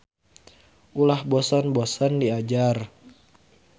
Ulah bosen-bosen diajar.